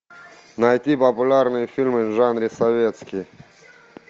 найти популярные фильмы в жанре советский